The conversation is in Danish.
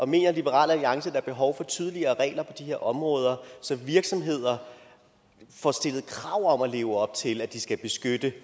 mener liberal alliance der er behov for tydeligere regler på de her områder så virksomheder får stillet krav om at leve op til at de skal beskytte det